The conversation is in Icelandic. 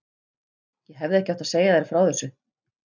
Ég hefði ekki átt að segja þér frá þessu